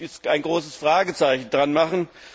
Da muss man ein großes Fragezeichen dran machen.